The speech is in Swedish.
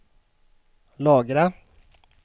lagra